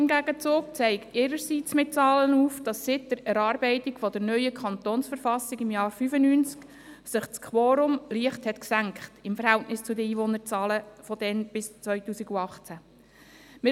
Im Gegenzug zeigt die Verwaltung ihrerseits mit Zahlen auf, dass sich infolge der Erarbeitung der neuen Verfassung des Kantons Bern (KV) im Jahr 1995 das Quorum im Verhältnis der Einwohnerzahlen seit damals bis 2018 leicht gesenkt hat.